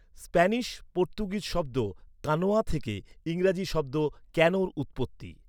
Spanish Portuguese শব্দ 'কানোয়া' থেকে ইংরাজী শব্দ 'ক্যানো'র উৎপত্তি।